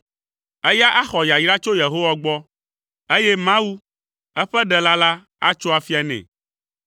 Eya axɔ yayra tso Yehowa gbɔ, eye Mawu, eƒe Ɖela la, atso afia nɛ.